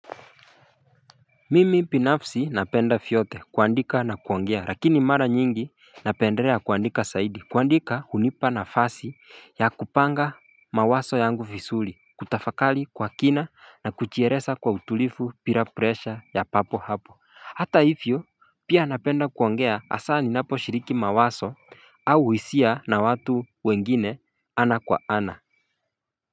Mimi binafsi napenda vyote kuandika na kuongea lakini mara nyingi napendelea kuandika zaidi kuandika hunipa nafasi ya kupanga mawazo yangu vizuri kutafakari kwa kina na kujieleza kwa utulifu bila pressure ya papo hapo Hata hivyo pia napenda kuongea hasa ninapo shiriki mawazo au hisia na watu wengine ana kwa ana.